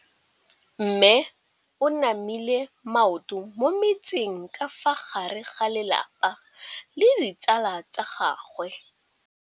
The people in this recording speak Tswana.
Mme o namile maoto mo mmetseng ka fa gare ga lelapa le ditsala tsa gagwe.